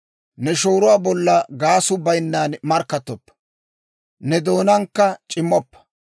Ne shooruwaa bolla gaasuu bayinnan markkattoppa; ne doonaankka c'immoppa.